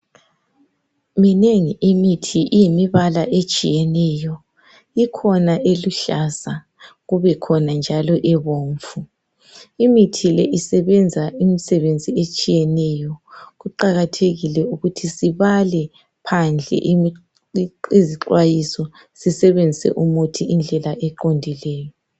Minenge imithi iyimibala etshiyeneyo. ikhona eluhlaza, kube khona njalo ebomvu, Imithi leyi isebenza imisebenzi etshiyeneyo. Kuqakathekile ukuthi sibale phandle izixwayiso, sibebenzise umithi ngendlela eqondileyo.